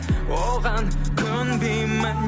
оған көнбеймін